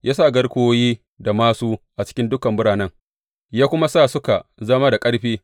Ya sa garkuwoyi da māsu a cikin dukan biranen, ya kuma sa suka zama da ƙarfi.